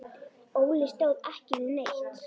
Óli stóð ekki við neitt.